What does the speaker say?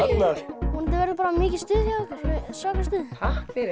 vonandi verður bara mikið stuð hjá ykkur svaka stuð takk fyrir